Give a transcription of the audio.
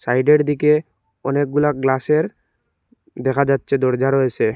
সাইডের দিকে অনেকগুলা গ্লাসের দেখা যাচ্ছে দরজা রয়েছে।